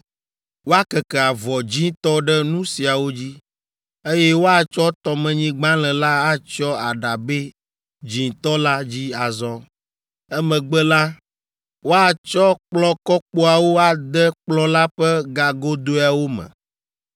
Woakeke avɔ dzĩtɔ ɖe nu siawo dzi, eye woatsɔ tɔmenyigbalẽ la atsyɔ aɖabɛ dzĩtɔ la dzi azɔ. Emegbe la, woatsɔ kplɔ̃kɔkpoawo ade kplɔ̃ la ƒe gagodoeawo me.